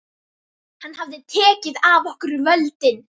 Hann hafði tekið af okkur völdin.